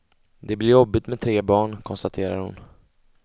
Det blir jobbigt med tre barn, konstaterar hon.